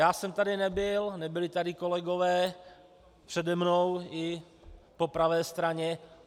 Já jsem tady nebyl, nebyli tady kolegové přede mnou i po pravé straně.